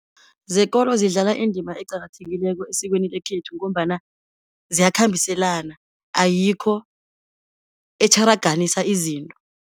Zekolo zidlala indima eqakathekileko esikweni lekhethu, ngombana ziyakhambiselana, ayikho etjharaganisa izinto.